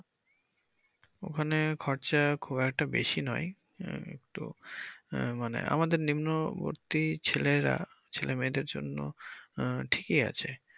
ওখানে খরচা খুব একটা বেশি নয় একটু আহ মানে আমাদের নিম্ন মধ্যবত্তী ছেলেরা ছেলে-মেয়েদের।